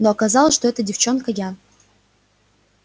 но оказалось что эта девчонка я